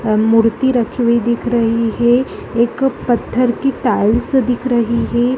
अ मूर्ति रखी हुई दिख रही हैं एक पत्थर की टाइल्स दिख रही हैं।